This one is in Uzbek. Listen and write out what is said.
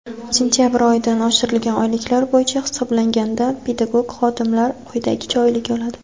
Sentabr oyidan oshirilgan oyliklar bo‘yicha hisoblanganda pedagog xodimlar quyidagicha oylik oladi:.